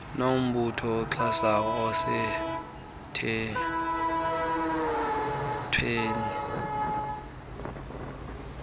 nombutho oxhasayo osemthethweni